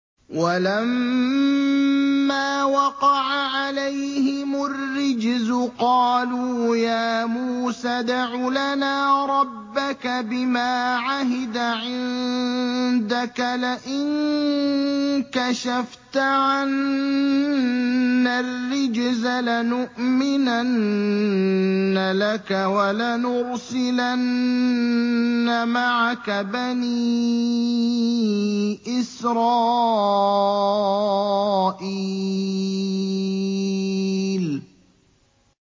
وَلَمَّا وَقَعَ عَلَيْهِمُ الرِّجْزُ قَالُوا يَا مُوسَى ادْعُ لَنَا رَبَّكَ بِمَا عَهِدَ عِندَكَ ۖ لَئِن كَشَفْتَ عَنَّا الرِّجْزَ لَنُؤْمِنَنَّ لَكَ وَلَنُرْسِلَنَّ مَعَكَ بَنِي إِسْرَائِيلَ